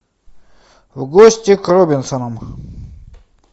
в гости к робинсонам